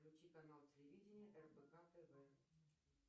включи канал телевидения рбк тв